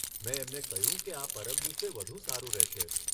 મેં એમને કહ્યું કે આ પરમ દિવસે વધુ સારું રહેશે.